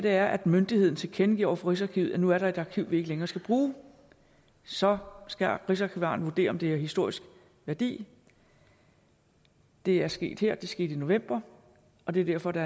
er at myndigheden tilkendegiver over for rigsarkivet at nu er der et arkiv den ikke længere skal bruge så skal rigsarkivaren vurdere om det har historisk værdi det er sket her det skete i november og det er derfor der